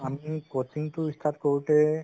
আমি coaching তো start কৰোতে